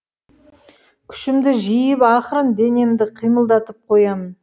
күшімді жиып ақырын денемді қимылдатып қоямын